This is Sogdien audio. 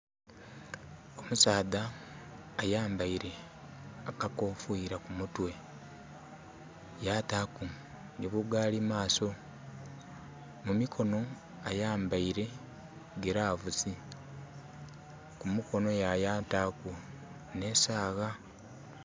Omusaadha ayambeire akakofira ku mutwe yataku nhi bugalimaaso. Mumikonho aayambeire gilavusi, kumukonho yataku ne sawa.